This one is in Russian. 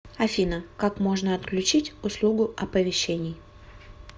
афина как можно отключить услугу оповещений